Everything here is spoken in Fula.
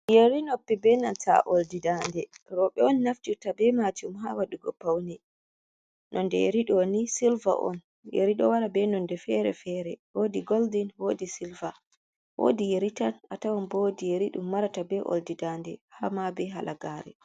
Yeri noppi be nanta oldi dande robe on naftirta be majum ha wadugo paune, nonde yeri doni silva on yerido wara be nonde fere fere wodi golden, wodi silva, wodi yeritan, a tawan woodi yeridum marata be oldi dande ha ma be halagare.